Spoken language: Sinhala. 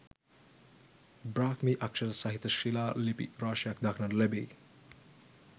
බ්‍රාහ්මී අක්‍ෂර සහිත ශිලා ලිපි රාශියක් දක්නට ලැබෙයි.